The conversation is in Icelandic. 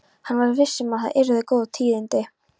Hann var viss um að það yrðu góð tíðindi.